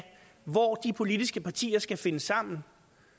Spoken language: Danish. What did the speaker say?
hvor de politiske partier skal finde sammen